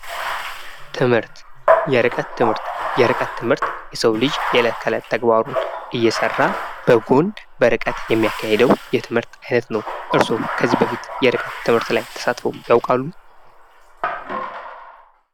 ትምህርት የርቀት ትምህርት የርቀት ትምህርት የሰው ልጅ የለት ከለት ተግባሩን እየሰራ በጎን በርቀት የሚያካሂደው የትምህርት ሂደት ነው። እርስዎ ከዚህ በፊት የርቀት ትምህርት ላይ ተሳትፎ ያውቃሉ?